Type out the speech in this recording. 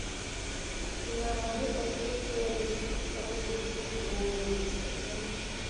киноработа крепкий орешек хороший день чтобы умереть скачай